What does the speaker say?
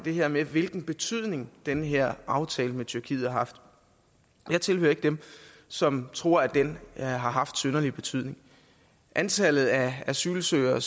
her med hvilken betydning den her aftale med tyrkiet har haft jeg tilhører ikke dem som tror at den har haft synderlig betydning antallet af asylsøgere